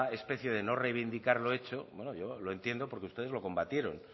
especie de no reivindicar lo hecho bueno yo lo entiendo porque ustedes lo combatieron